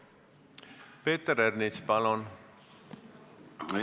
Peeter Ernits, palun!